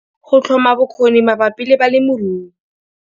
Go tlhoma bokgoni mabapi le balemirui